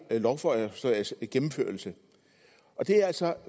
lovforslags gennemførelse det er altså